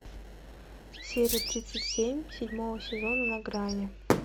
серия тридцать семь седьмого сезона на грани